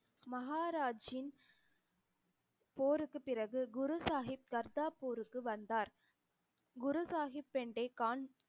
மஹாராஜின் போருக்கு பிறகு குரு சாஹிப் கர்த்தார்பூருக்கு வந்தார் குரு சாஹிப், பெண்டே கான்